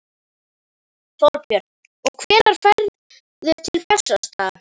Þorbjörn: Og hvenær ferðu til Bessastaða?